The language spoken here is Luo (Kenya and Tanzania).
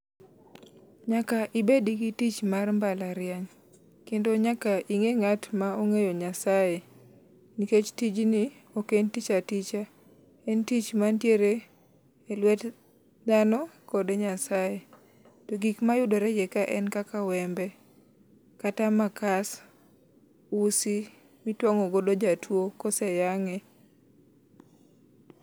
Nyaka ibed gi tich mar mbalariany. Kendo nyaka ibed ng'at ma ong'eyo Nyasaye. Nikech tijni ok en tich aticha. En tich mantiere elwet dhano kod nyasaye. To gik ma yudore kae gin kaka wembe kata makas usi mtuang'o godo jatuo ka ose yang'e